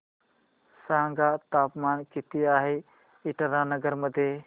सांगा तापमान किती आहे इटानगर मध्ये